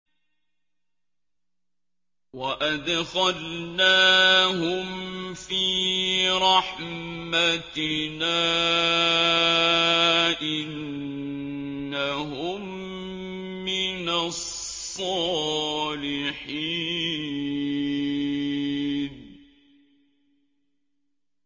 وَأَدْخَلْنَاهُمْ فِي رَحْمَتِنَا ۖ إِنَّهُم مِّنَ الصَّالِحِينَ